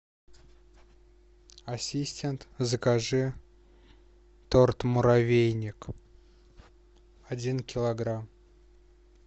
ассистент закажи торт муравейник один килограмм